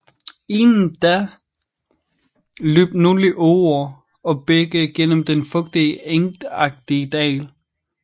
Inden da løb nogle åer og bække gennem den fugtige engagtige dal